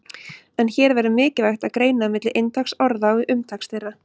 En hér verður mikilvægt að greina milli inntaks orða og umtaks þeirra.